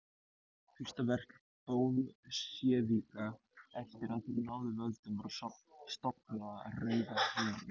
Eitt fyrsta verk Bolsévíka eftir að þeir náðu völdum var að stofna Rauða herinn.